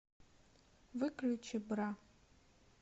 выключи бра